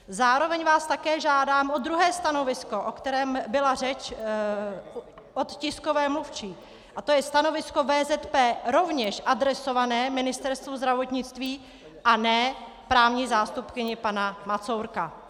Zároveň vás také žádám o druhé stanovisko, o kterém byla řeč, od tiskové mluvčí, a to je stanovisko VZP rovněž adresované Ministerstvu zdravotnictví a ne právní zástupkyni pana Macourka.